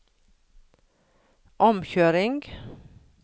omkjøring